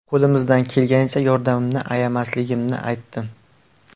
Qo‘limdan kelganicha yordamimni ayamasligimni aytdim.